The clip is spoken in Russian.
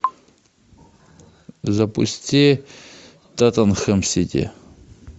запусти тоттенхэм сити